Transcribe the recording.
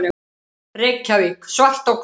Reykjavík, Svart á hvítu.